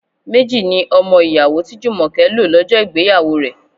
Méjì ni ọmọ ìyàwó tí Jumoke lo lọ́jọ́ ìgbéyàwó rẹ.